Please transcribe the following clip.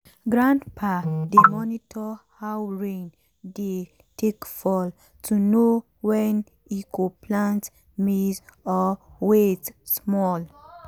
grandpa dey monitor how rain dey take fall to know when e go plant maize or wait small